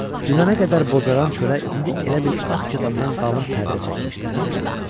Dünənə qədər bozaran çölə indi elə bil ağ katandan qalın pərdə çəkmişdilər.